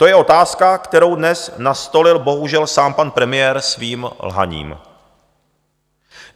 To je otázka, kterou dnes nastolil bohužel sám pan premiér svým lhaním.